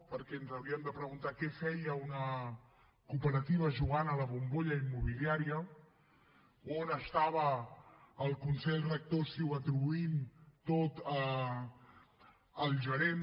perquè ens hauríem de preguntar què feia una cooperativa jugant a la bombolla immobiliària on estava el consell rector si ho atribuïm tot al gerent